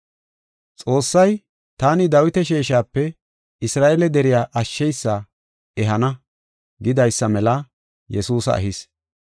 “Xoossay, ‘Taani Dawita sheeshape Isra7eele deriya ashsheysa ehana’ gidaysa mela Yesuusa ehis.